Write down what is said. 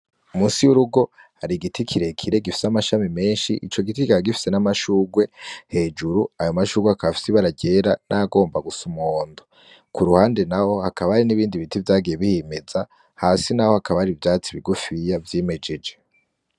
Munsi y'urugo hari igiti kirekire gifise amashami menshi, ico giti kikaba gifise n'amashurwe hejuru. Ayo mashurwe akaba afise ibara ryera n'ayagomba gusa umuhondo. Ku ruhande naho hakaba hari n'ibindi biti vyagiye vyimeza, hasi naho hakaba hari ivyatsi bigufiya vyimejeje.